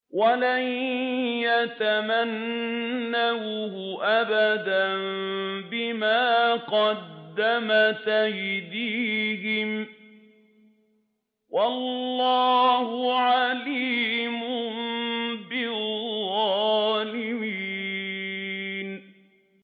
وَلَن يَتَمَنَّوْهُ أَبَدًا بِمَا قَدَّمَتْ أَيْدِيهِمْ ۗ وَاللَّهُ عَلِيمٌ بِالظَّالِمِينَ